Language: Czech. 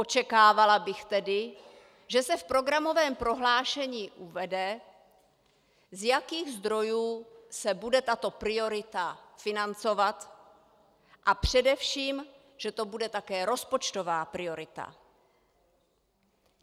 Očekávala bych tedy, že se v programovém prohlášení uvede, z jakých zdrojů se bude tato priorita financovat, a především, že to bude také rozpočtová priorita.